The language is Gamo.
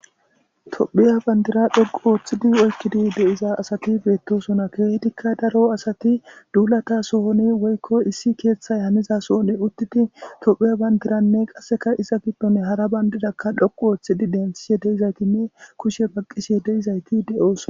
tophiya bandira dhoqu ooththidi oykkidi deiza asati beettosona keehtikka daro asati duulata sohoni woykko issi keeththay haniza sohone uttiti tophiya bandiranne qasseka iza giddone hara bandirakka dhoqu ooththidi dentsihe deizaytinne kushe baqqishe deizayti de7oosona